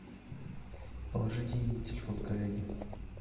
положи деньги на телефон коллеге